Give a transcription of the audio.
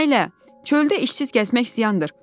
Nailə, çöldə işsiz gəzmək ziyandır.